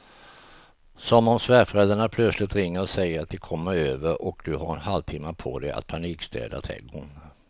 Som om svärföräldrarna plötsligt ringer och säger att de kommer över och du har en halvtimme på dig att panikstäda trädgården.